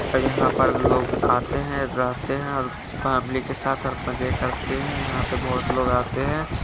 यहाँ पर लोग आते है जाते है पब्लिक के साथ हरकते करते है यहाँ पे बहोत लोग आते है।